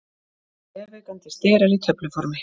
Vefaukandi sterar í töfluformi.